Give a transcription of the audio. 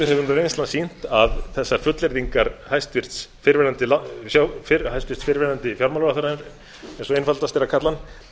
hvað er kerfið gamalt þessar fullyrðingar hæstvirtur fyrrverandi fjármálaráðherra eins og einfaldast er að kalla